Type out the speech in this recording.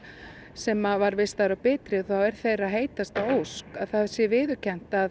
sem var vistaður á Bitru þá er þeirra heitasta ósk að það sé viðurkennt að